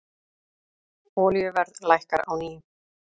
Olíuverð lækkar á ný